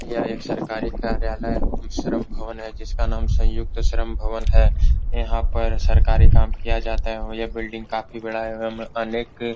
यह एक सरकारी कार्यालय एवं श्रम भवन है जिसका नाम संयुक्त श्रम भवन है यहां पर सरकारी काम किया जाता है एवं ये बिल्डिंग काफी बड़ा है एवं अनेक --